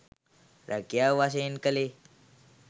රැකියාව වශයෙන් කළේ